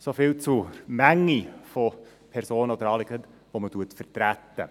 So viel zur Menge von Personen oder Anliegen, welche man vertritt.